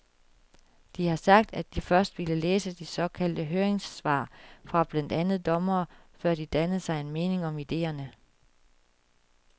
De har sagt, at de først ville læse de såkaldte høringssvar fra blandt andet dommerne, før de dannede sig en mening om idéerne.